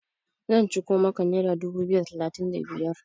zan ciko maka naira dubu biyu da talatin da biyar!